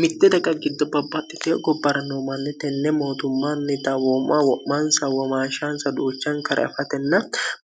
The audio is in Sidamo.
mitte daqa giddo babbaxxite gobbara no manni tenne mootummaannita wooma wo'maansawwamaashaan saduuchan kare afatenna